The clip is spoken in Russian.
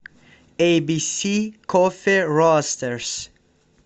эйбиси кофе ростерс